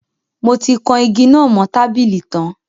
Mo ti kan igi náà mo tábìlì tan